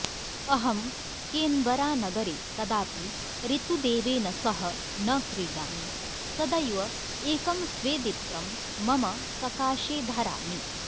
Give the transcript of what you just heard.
अहं केन्बरानगरे कदापि ऋतुदेवेन सह न क्रीडामि सदैव एकं स्वेदित्रं मम सकाशे धरामि